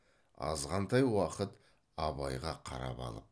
азғантай уақыт абайға қарап алып